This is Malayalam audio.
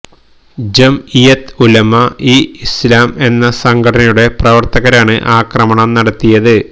ജംഇയത്ത് ഉലമ ഇ ഇസ്ലാം എന്ന സംഘടനയുടെ പ്രവർത്തകരാണ് ആക്രമണം നടത്തിയത്